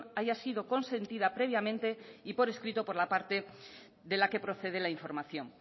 haya sido consentida previamente y por escrito por la parte de la que procede la información